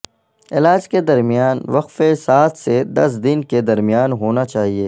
علاج کے درمیان وقفہ سات سے دس دن کے درمیان ہونا چاہئے